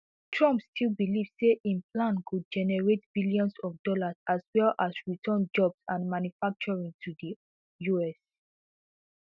trump still believe say im plan go generate billions of dollars as well as return jobs and manufacturing to di us